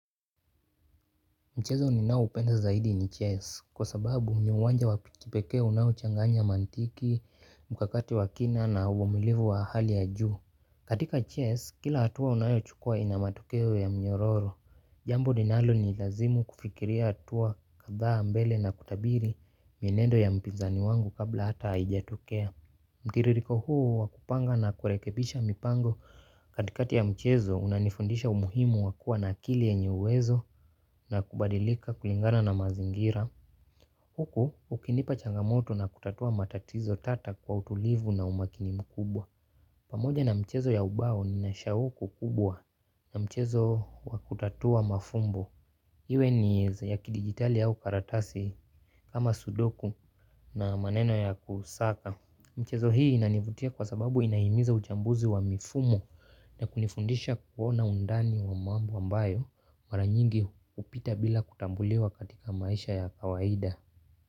Mchezo ninao upenda zaidi ni chess kwa sababu ni uwanja wa kipeke unao changanya mantiki, mkakati wa kina na uvumilivu wa hali ya juu. Katika chess kila hatua unayo chukua inamatokeo ya mnyororo. Jambo linalo ni lazimu kufikiria hatua kadhaa mbele na kutabiri mienendo ya mpinzani wangu kabla hata haijatokea. Mtiririko huo wakupanga na kurekebisha mipango katikati ya mchezo unanifundisha umuhimu wakua na akili yenye uwezo na kubadilika kulingana na mazingira. Huku ukinipa changamoto na kutatua matatizo tata kwa utulivu na umakini mkubwa. Pamoja na mchezo ya ubao ninashahuku kubwa na mchezo wa kutatua mafumbo. Iwe nieza ya kidigitali au karatasi kama sudoku na maneno ya kusaka. Mchezo hii inanivutia kwa sababu inahimiza uchambuzi wa mifumo na kunifundisha kuona undani wa mambo ambayo maranyingi upita bila kutambuliwa katika maisha ya kawaida.